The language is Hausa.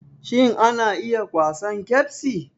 Shin ana iya kwasan ƙebsi?